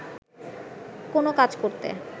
কোন কাজ করতে